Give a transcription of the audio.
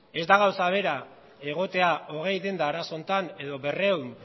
ez da gauza bera egotea hogei denda arazo honetan edo berrehun